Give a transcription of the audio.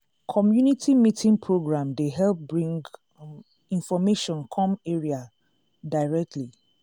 community meeting program dey help bring um information come area um directly.